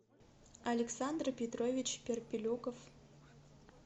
александр петрович перпелюков